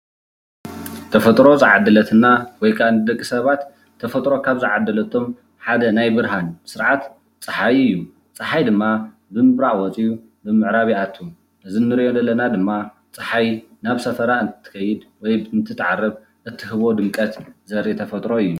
ተፈጥሮ ዝተዓደለትና ወይ ክዓ ንደቂ ሰባት ተፈጥሮ ካብ ዝዓደለቶም ሓደ ናይ ብርሃን ስርዓት ፀሓይ እዩ። ፀሓይ ድማ ብምብራቕ ወፂኡ ብምዕራብ ይኣትዉ። እዚ እንሪኦ ደለና ድማ ፀሓይ ናብ ሰፈራ እንትትኸይድ ወይ እንትትዓርብ እትህቦ ድምቀት ዘርኢ ተፈጥሮ እዩ።